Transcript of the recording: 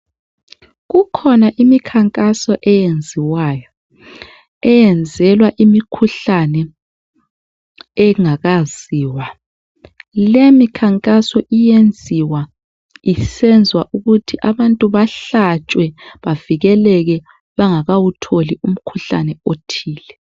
Kukhona imikhankaso eyenziwayo eyenzelwa imikhuhlane engakayaziwa leyimikhankaso iyenziwa isenzelwa ukuthi abantu bahlatshwe bavikeleke bengakathili umkhuhlane othile